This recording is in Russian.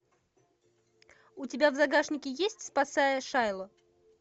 у тебя в загашнике есть спасая шайло